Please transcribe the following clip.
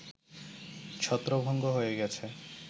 ছত্রভঙ্গ হয়ে গেছে